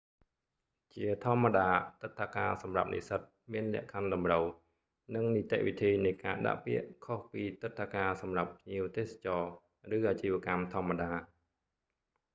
ជាធម្មតា ទិដ្ឋាការសម្រាប់និស្សិតមានលក្ខខណ្ឌតម្រូវ និងនីតិវិធីនៃការដាក់ពាក្យខុសពីទិដ្ឋាការសម្រាប់ភ្ញៀវទេសចរណ៍ ឬអាជីវកម្មធម្មតា